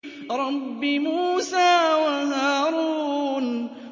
رَبِّ مُوسَىٰ وَهَارُونَ